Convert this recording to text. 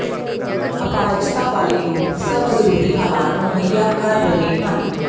ਅਪਾਹਜਤਾ ਵਾਲੇ ਲੋਕ ਸਭ ਜਰੂਰੀ ਹਾਲਾਤ ਮੁਹੱਈਆ ਕਰ ਰਹੇ ਹਨ